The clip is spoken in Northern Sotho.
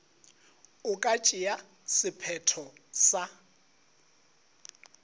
e ka tšea sephetho sa